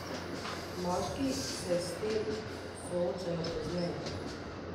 Moški se s tem soočajo pozneje.